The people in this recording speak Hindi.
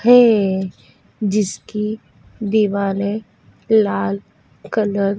है जिसकी दीवालें लाल कलर --